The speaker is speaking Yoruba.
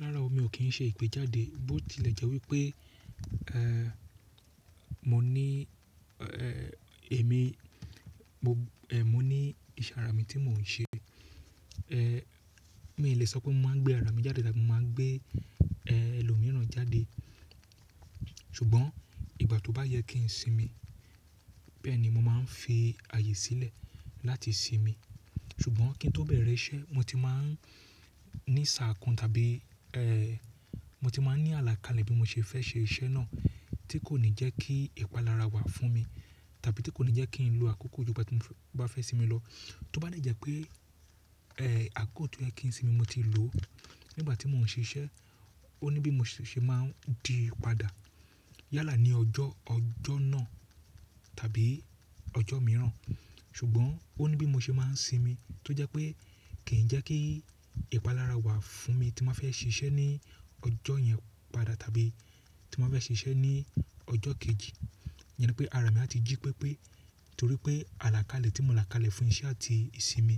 Rára o mi ò kín ń ṣe ìgbéjáde bó ti lè jẹ́ wípé, ẹ́ mo ní ẹ́ èmi mo ẹ́ mo ní ìse àrà mi tí mo ń ṣe. Ẹ́ Mi le sọ pé mo máa ń gbé ara mi jáde tàbí mo máa ń gbé ẹ́ ẹlòmíràn jáde. Ṣùgbọ́n ìgbà tó bá yẹ kí n sinmi bẹ́ẹ̀ ni mo máa ń fi ààyè sílẹ̀ láti sinmi. Ṣùgbọ́n kí ń tó bẹ̀rẹ̀ iṣẹ́ mo ti máa ń ní ṣàakun tàbí ẹ́ mo ti máa ń ní àlàkalẹ̀ bí mo ṣe fẹ́ ṣe iṣẹ́ náà tí kò ní jẹ́ kí ìpalára wà fún mi tàbí tí kò ní jẹ́ kí n lo àkókò gbogbo tí mo bá fẹ́ sinmi lọ. Tó bá lè jẹ́ pé ẹ́ àkókò tí ó yẹ kí n sinmi mo ti lò nígbà tí mo ń ṣe iṣẹ́, ó ní bí mo ṣe máa ń di padà yálà ní ọjọ́, ọjọ́ náà tàbí ọjọ́ mìíràn. Ṣùgbọ́n ó ní bí mo ṣe máa ń sinmi tó jẹ́ pé kì ń jẹ́ kí ìpalára wà fún mi tí mo fẹ́ ṣe iṣẹ́ ní ọjọ́ yẹn padà tàbí tí mo fẹ́ ṣe iṣẹ́ ní ọjọ́ kejì. Iyen nipé ara mi a ti jí pepe torí pé àlàkalẹ̀ tí mo là kalẹ̀ fún iṣẹ́ àti ìsinmi